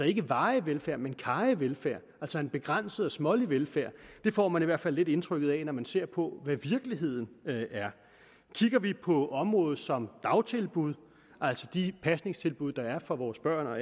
ikke varig velfærd men karrig velfærd altså en begrænset og smålig velfærd det får man i hvert fald lidt indtrykket af når man ser på hvad virkeligheden er kigger vi på område som dagtilbud altså de pasningstilbud der er for vores børn og